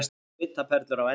Svitaperlur á enninu.